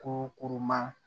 Ko kurun ma